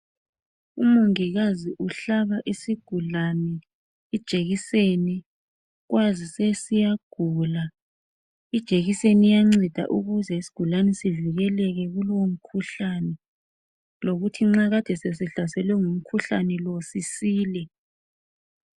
umongikazi uhlaba isigulane ijekiseni siyagula ijekiseni iyanceda ukze isigulane sivikeleke kulowo mkhuhlane lokuthi nxa kade sesihlaselwe ngumkhuhlane lo sisile